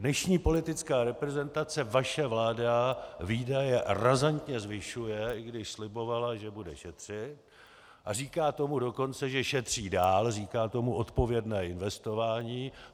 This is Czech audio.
Dnešní politická reprezentace, vaše vláda, výdaje razantně zvyšuje, i když slibovala, že bude šetřit, a říká tomu dokonce, že šetří dál, říká tomu odpovědné investování.